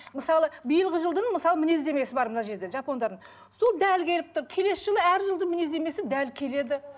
мысалы биылғы жылдың мысалы мінездемесі бар мына жерде жапондардың сол дәл келіп тұр келесі жылы әр жылдың мінездемесі дәл келеді